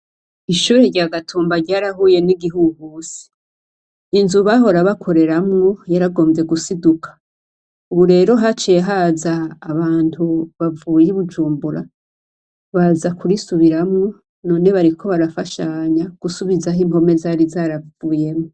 Ishure rya Gatumba ryarahuye n'igihuhusi. Ni inzu bahora bakoreramwo yaragomvye gusiduka. Ubu rero haciye haza abantu bavuye i Bujumbura, baza kurisubiramwo, none bariko barafashanya gusubizaho impome zari zaravuyemwo.